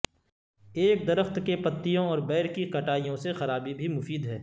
ایک درخت کے پتیوں اور بیر کی کٹائیوں سے خرابی بھی مفید ہے